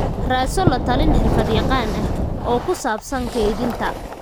Raadso la-talin xirfad-yaqaan ah oo ku saabsan kaydinta.